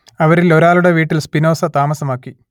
അവരിലൊരാളുടെ വീട്ടിൽ സ്പിനോസ താമസമാക്കി